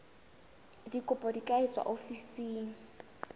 dikopo di ka etswa ofising